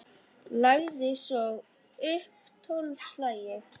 Lagði svo upp tólf slagi.